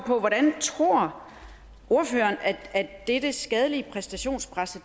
hvordan tror ordføreren at dette skadelige præstationspres